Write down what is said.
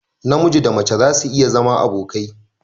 Namiji Da mace zasu iya zama abokai.